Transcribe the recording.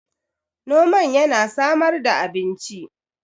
noman yana samar da abinci